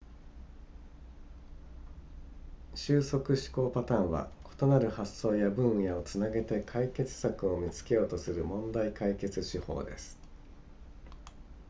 収束思考パターンは異なる発想や分野をつなげて解決策を見つけようとする問題解決手法です